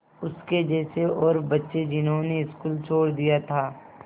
उसके जैसे और बच्चे जिन्होंने स्कूल छोड़ दिया था